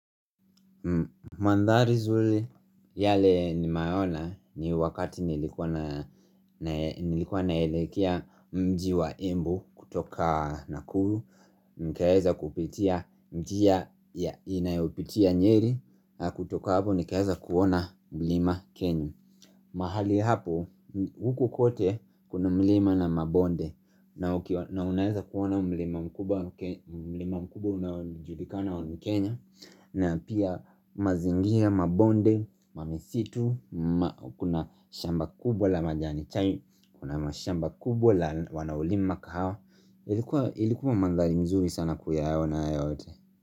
Mandhari zuri yale ni mayona ni wakati. Nilikuwa naelekea mji wa imbu kutoka na kuru. Nikaeza kupitia mji ya inayopitia nyeri na kutoka hapo nikaeza kuona mlima kenyu. Mahali hapo huku kote kuna mlima na mabonde. Na unaeza kuona mlima mkubu na julika na mkenya. Na pia mazingia, mabonde, mamisitu, kuna shamba kubwa la majani chai, kuna mashamba kubwa la wanaulima kahawa. Ilikuwa mandali mzuri sana kuyaona yote.